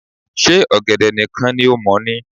Ṣe ọ̀gẹ̀dẹ̀ nìkan ni o mọ̀ ni